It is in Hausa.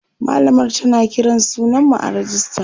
mallamar tana Kiran sunan mu a rejista